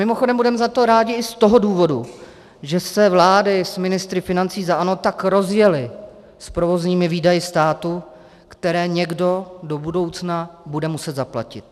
Mimochodem budeme za to rádi i z toho důvodu, že se vlády s ministry financí za ANO tak rozjely s provozními výdaji státu, které někdo do budoucna bude muset zaplatit.